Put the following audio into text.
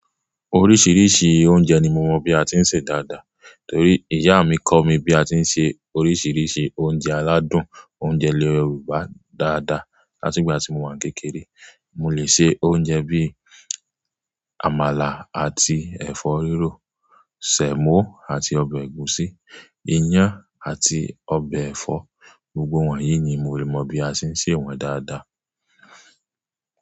Oríṣiríṣi oúnjẹ ni mo mọ bí a tí ń ṣe dáadáa torí ìyá mi kọ mí bí a tí ń ṣe oríṣiríṣi oúnjẹ aládùn oúnjẹ ilẹ̀ Yorùbá dáadáa látìgbà tí mo wà kékeré. Mo lè ṣe oúnjẹ bí i àmàlà àti ẹ̀fọ́ rírò, sẹ̀mọ́ àti ọbẹ̀ ẹ̀gúsí, iyán àti ọbẹ̀ ẹ̀fọ́. Gbogbo wọn yìí ni mo mọ bí a ṣe ń sè wọ́n dáadáa.